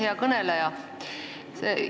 Hea kõneleja!